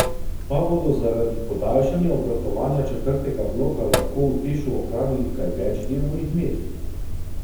Pa bodo zaradi podaljšanja obratovanja četrtega bloka lahko v Tešu ohranili kaj več delovnih mest?